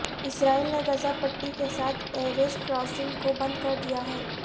اسرائیل نے غزہ پٹی کے ساتھ ایریز کراسنگ کو بند کر دیا